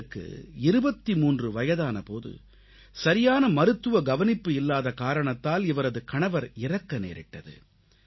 இவருக்கு 23 வயதான போது சரியான மருத்துவ கவனிப்பு இல்லாத காரணத்தால் இவரது கணவர் இறக்க நேரிட்டது